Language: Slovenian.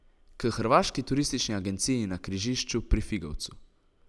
K hrvaški turistični agenciji na križišču pri Figovcu.